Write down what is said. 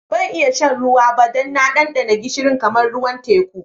Ban iya shan ruwan ba dan na dandana gishiri kamar ruwan teku.